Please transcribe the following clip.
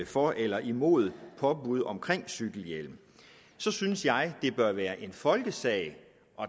for eller imod påbud om cykelhjelm så synes jeg at det bør være en folkesag at